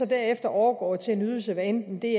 derefter overgår til en ydelse hvad enten det